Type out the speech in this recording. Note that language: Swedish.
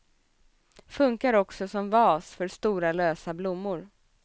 Funkar också som vas för stora lösa blommor.